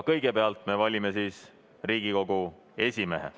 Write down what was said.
Kõigepealt me valime Riigikogu esimehe.